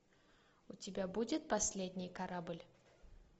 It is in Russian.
у тебя будет последний корабль